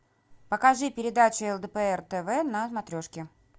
покажи передачу лдпр тв на смотрешки